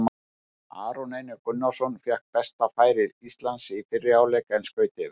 Aron Einar Gunnarsson fékk besta færi Íslands í fyrri hálfleik en skaut yfir.